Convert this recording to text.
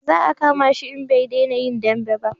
Za a kama shi in bai dena yin dambe ba